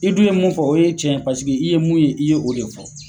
I dun ye mun fɔ o ye tiɲɛ . Paseke i ye mun ye i ye o de fɔ.